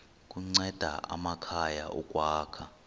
kunceda amakhaya ukwakha